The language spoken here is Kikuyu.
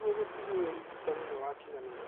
nĩguo gũtigĩrĩra ũrigitani nĩ wakinyanĩra.